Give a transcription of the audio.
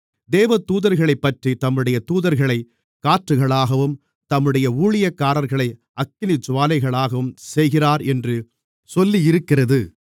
தேவதூதர்களைப்பற்றி தம்முடைய தூதர்களைக் காற்றுகளாகவும் தம்முடைய ஊழியக்காரர்களை அக்கினிஜூவாலைகளாகவும் செய்கிறார் என்று சொல்லியிருக்கிறது